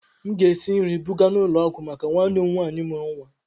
Aga m esi nri buga n'ụlọ ọgwụ maka nwanne m nwaanyị mụrụ nwa.